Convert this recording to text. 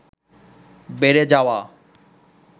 বেড়ে যাওয়া